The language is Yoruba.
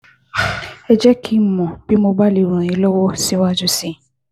Ẹ jẹ́ kí n mọ̀ bí mo bá lè ràn yín lọ́wọ́ síwájú sí i